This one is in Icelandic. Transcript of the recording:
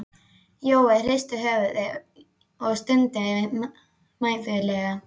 Jói hristi höfuðið og stundi mæðulega.